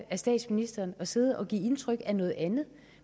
af statsministeren at sidde og give indtryk af noget andet